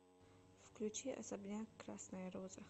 включи особняк красная роза